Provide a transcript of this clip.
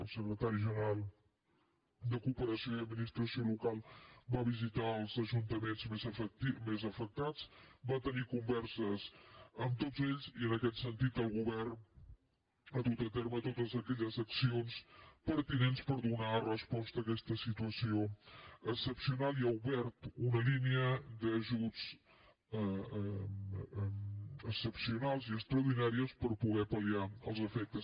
el secretari general de cooperació i adminis·tració local va visitar els ajuntaments més afectats va tenir converses amb tots ells i en aquest sentit el go·vern ha dut a terme totes aquelles accions pertinents per donar resposta a aquesta situació excepcional i ha obert una línia d’ajuts excepcionals i extraordinaris per poder pal·liar els aspectes